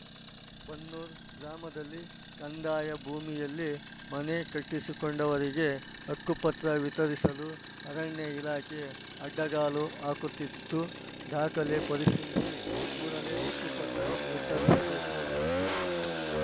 ಬನ್ನೂರು ಗ್ರಾಮದಲ್ಲಿ ಕಂದಾಯ ಭೂಮಿಯಲ್ಲಿ ಮನೆ ಕಟ್ಟಿಸಿ ಕೊಂಡವರಿಗೆ ಹಕ್ಕುಪತ್ರ ವಿತರಿಸಲು ಅರಣ್ಯ ಇಲಾಖೆ ಅಡ್ಡಗಾಲು ಹಾಕುತ್ತಿದ್ದು ದಾಖಲೆ ಪರಿಶೀಲಿಸಿ ಕೂಡಲೇ ಹಕ್ಕು ಪತ್ರ ವಿತರಿಸಬೇಕು